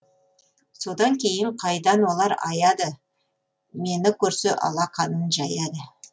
содан кейін қайдан олар аяды мені көрсе алақанын жаяды